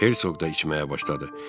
Herk da içməyə başladı.